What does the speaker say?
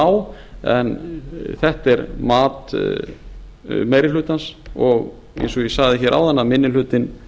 lág en þetta er mat meiri hlutans og eins og ég sagði áðan minni hlutinn